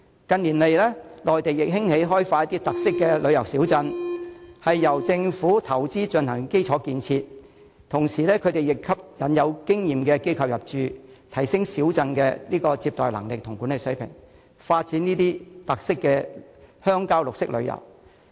近年來內地亦興起開發特色旅遊小鎮，由政府投資進行基礎建設，同時亦吸引有經驗的機構入駐，提升小鎮的接待能力和管理水平，發展特色的鄉郊綠色旅遊。